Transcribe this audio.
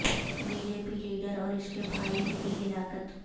be J P leader اور اس کے بھائی کی ہلاکت